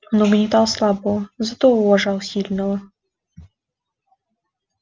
он угнетал слабого но зато уважал сильного